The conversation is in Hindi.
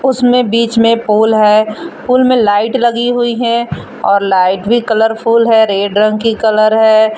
उसमें बीच में पोल है पोल में लाइट लगी हुई है और लाइट भी कलरफुल है रेड रंग की कलर है।